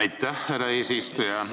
Aitäh, härra eesistuja!